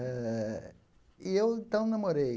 Eh e eu então namorei.